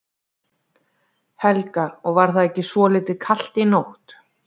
Helga: Og var ekki svolítið kalt í nótt?